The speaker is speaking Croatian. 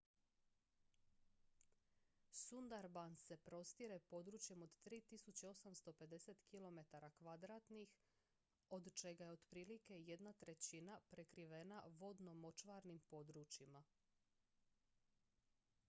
sundarbans se prostire područjem od 3.850 km² od čega je otprilike jedna trećina prekrivena vodno-močvarnim područjima